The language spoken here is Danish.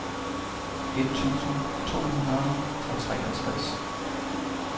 et tusind to hundrede og treogtres